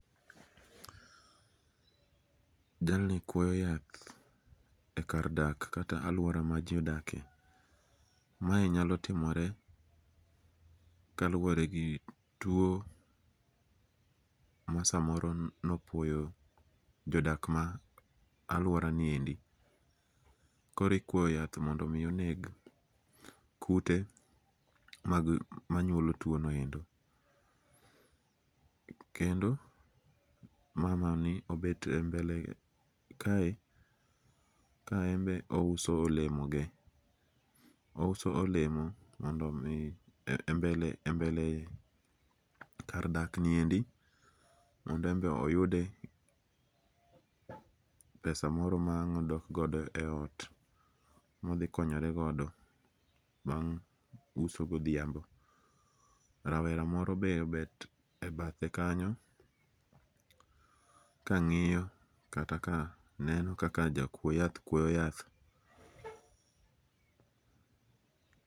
jalni kuoyo yath e kar dak kata aluora ma ji odake, mae nyalo timore kaluore gi tuo masamoro nopuoyo jadak ma aluoraniendi, koro ikuoyo yath mondo omi oneg kute manyuolo twonoendo, kendo mamani obet embele kae kaembe ouso olemoge, ouso olemo mondo mi embele kar dakniendi mondo embe oyude pesa moro ma ang' odok godo e ot mothikonyeregodo bang' uso gothiambo, rawera moro be obet e bathe kanyo kangi'yo kata ka neno kaka jakuo yath kuoyo yath.